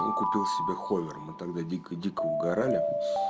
купил себе мы тогда дико дико угорали